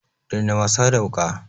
Daina wasa da wuƙa!